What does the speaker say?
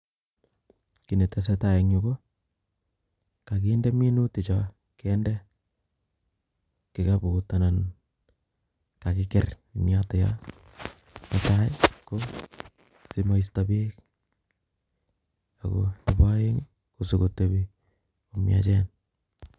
Kiy ne tesetai en yuu ko, kakinde minutik choo, kende kikaput anan kakiker en yotoyo. Ne tai ko simoisto beek, ago nebo aeng' ko sikotebi ko miachen